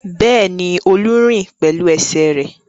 Bẹ́ẹ̀ni, Olú ń rìn pẹ̀lú ẹsẹ̀ rẹ̀.